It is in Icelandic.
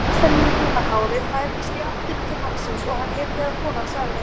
Kastaníubrúna hárið færðist í áttina til mannsins og hann heyrði að konan sagði